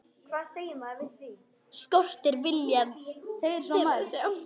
Skortir viljann til að sjá.